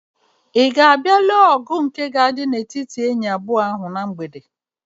Ị ga-abịa lee ọgụ nke ga-adị n'etiti enyi abụọ ahụ na mgbede?